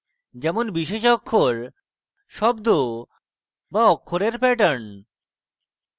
যেমন বিশেষ অক্ষর শব্দ বা অক্ষরের প্যাটার্ন